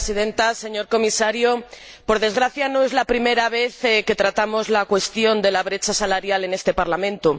Señora Presidenta, señor Comisario, por desgracia, no es la primera vez que tratamos la cuestión de la brecha salarial en este Parlamento.